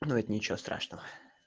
ничего страшного